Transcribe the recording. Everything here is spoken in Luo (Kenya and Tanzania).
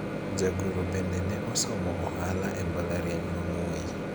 jagoro bende ne osomo ohala e mbalariany ma Moi